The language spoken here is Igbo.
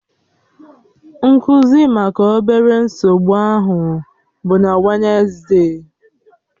Nkụzi maka obere nsogbu ahụ bụ na Wednesde